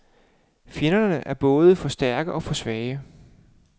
Fjenderne er både for stærke og for svage.